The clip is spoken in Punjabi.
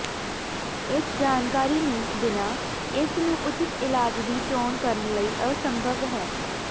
ਇਸ ਜਾਣਕਾਰੀ ਨੂੰ ਬਿਨਾ ਇਸ ਨੂੰ ਉਚਿਤ ਇਲਾਜ ਦੀ ਚੋਣ ਕਰਨ ਲਈ ਅਸੰਭਵ ਹੈ